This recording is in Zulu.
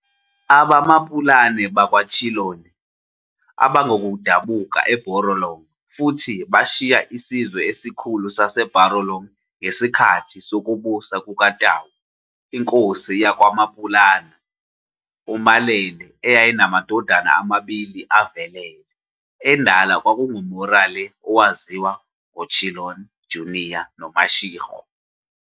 AbaMapulana bakwaChiloane abangabokudabuka eBarolong futhi bashiya isizwe esikhulu saseBarolong ngesikhathi sokubusa kukaTau. INkosi yakwaMapulana uMalele yayinamadodana amabili avelele, endala kwakunguMorale owaziwa ngoChiloane jnr noMashego.